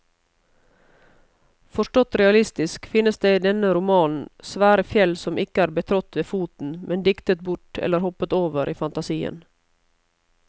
Forstått realistisk finnes det i denne romanen svære fjell som ikke er betrådt med foten, men diktet bort eller hoppet over i fantasien.